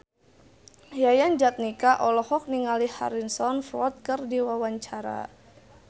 Yayan Jatnika olohok ningali Harrison Ford keur diwawancara